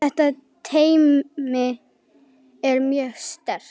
Þetta teymi er mjög sterkt.